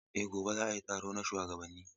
Eh, gobe za a yi taro na shugabanni.